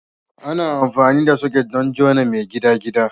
Ana amfani da soket don jona mai gidagida.